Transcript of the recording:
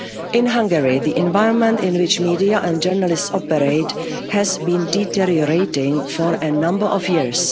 be heard. In Hungary, the environment in which media and journalists operate has been deteriorating for a number